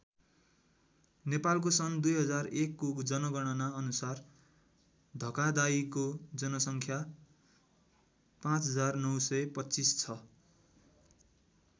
नेपालको सन् २००१ को जनगणना अनुसार धकादाइको जनसङ्ख्या ५९२५ छ।